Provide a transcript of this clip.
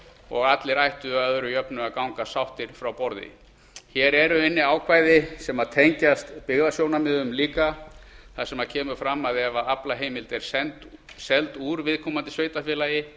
og allir ættu að öðru jöfnu að ganga sáttir frá borði hér eru inni ákvæði sem tengjast byggðasjónarmiðum líka þar sem fram kemur að ef aflaheimild er seld úr viðkomandi sveitarfélagi